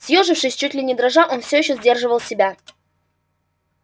съёжившись чуть ли не дрожа он все ещё сдерживал себя